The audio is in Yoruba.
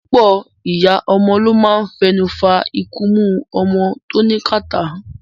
Púpọ̀ ìyá ọmọ ló máa ń fẹnu fa ikunmú ọmọ wọn tó ní kàtá.